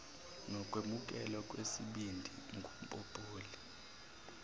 nokwemukelwa kwesibindi ngumpopoli